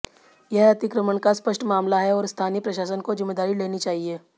यह अतिक्रमण का स्पष्ट मामला है और स्थानीय प्रशासन को जिम्मेदारी लेनी चाहिए